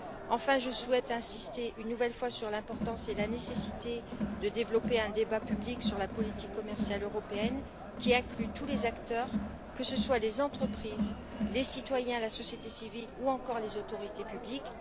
Enfin, je souhaite insister une nouvelle fois sur l'importance et la nécessité de développer un débat public sur la politique commerciale européenne, qui inclue tous les acteurs, que ce soit les entreprises, les citoyens, la société civile ou encore les autorités publiques.